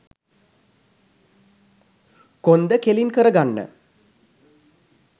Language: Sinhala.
කොන්ද කෙළින් කරගන්න.